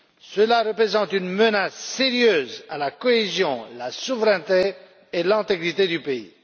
Cela représente une menace sérieuse à la cohésion, à la souveraineté et à l'intégrité du pays.